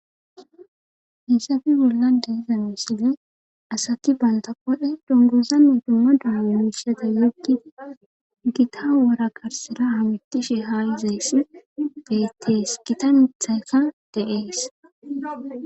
Hayssafi bollan diizamesine asati balta qodhe dunguzanne dumma dumamiishata yeggi gita wora garsira hamittishe haa izays bettees gitanethaykka deees.